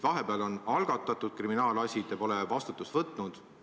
Vahepeal on algatatud kriminaalasi, te pole vastutust võtnud.